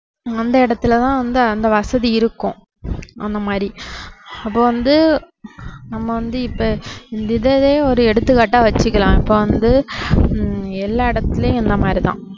அந்த இடத்துலதான் வந்து அந்த வசதி இருக்கும். அந்த மாதிரி அப்போ வந்து நம்ம வந்து இப்போ இந்த இதுவே ஒரு எடுத்துக்காட்டா வச்சுக்கலாம் இப்போ வந்து ஹம் எல்லா இடத்துலேயும் இந்த மாதிரிதான்